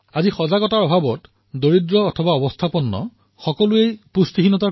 আজি সজাগতাৰ অভাৱত কুপোষণৰ দ্বাৰা দুখীয়া ধনী সকলোৱেই প্ৰভাৱিত হৈছে